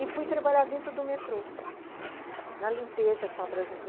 E fui trabalhar dentro do metrô, na limpeza, com